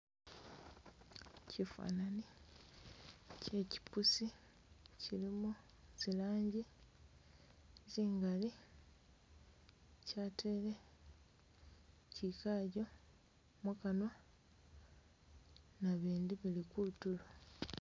Chifanani che kyipussi chilimo zilangi zingali kyatele chikakyo mukanwa nabindi bili kutulo.